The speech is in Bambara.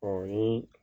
O ye